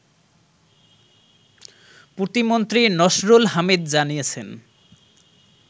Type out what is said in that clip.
প্রতিমন্ত্রী নসরুল হামিদ জানিয়েছেন